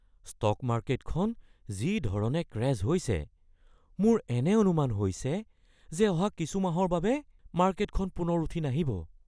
Stock মাৰ্কেটখন যিধৰণে crash হৈছে, মোৰ এনে অনুমান হৈছে যে অহা কিছু মাহৰ বাবে মাৰ্কেটখন পুনৰ উঠি নাহিব।